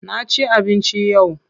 Na ci abinci yau.